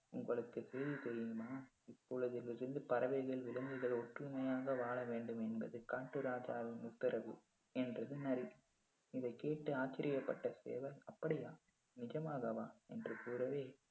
உங்களுக்கு சேதி தெரியுமா உலகில் இருந்து பறவைகள் விலங்குகள் ஒற்றுமையாக வாழவேண்டும் என்பது காட்டு ராஜாவின் உத்தரவு என்றது நரி இதை கேட்டு ஆச்சரியப்பட்ட சேவல் அப்படியா நிஜமாகவா என்று கூறவே